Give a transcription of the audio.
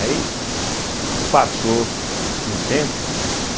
Aí, (estalo com a boca) passou um tempo, né?